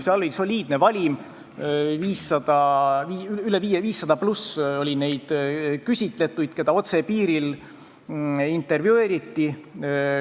See oli soliidne, valimis oli üle 500 küsitletu, keda otse piiril intervjueeriti.